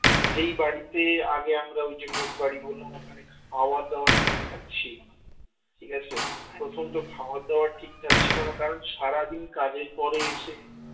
যেই বাড়িতে আগে আমরা ওই যে মেস বাড়ি বললাম ওখানে খাবার দাবার ঠিকঠাক ছিল না ঠিক আছে প্রথম তো খাবার দাবার ঠিকঠাক ছিল না কারণ সারাদিন কাজের পরে এসে